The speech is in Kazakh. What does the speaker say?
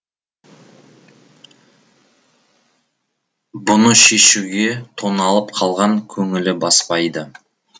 бұны шешуге тоналып қалған көңілі баспайды